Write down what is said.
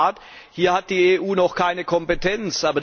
In der Tat, hier hat die EU noch keine Kompetenz.